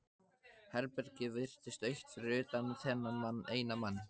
Herbergið virtist autt fyrir utan þennan eina mann.